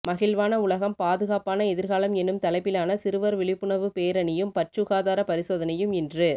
மகிழ்வான உலகம் பாதுகாப்பான எதிர்காலம் எனும் தலைப்பிலான சிறுவர் விழிப்புணர்வு பேரணியும் பற்சுகாதார பரிசோதனையும் இன்று